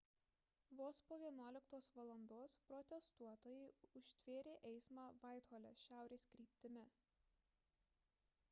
vos po 11:00 val protestuotojai užtvėrė eismą vaithole šiaurės kryptimi